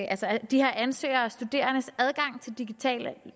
at de her ansøgere og studerendes adgang til digitale